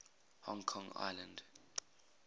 hong kong island